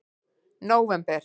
nóvember